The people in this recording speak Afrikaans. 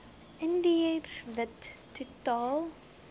indiër wit totaal